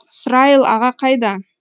срайыл аға қайда